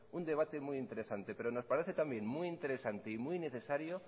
un debate muy interesante pero nos parece también muy interesante y muy necesario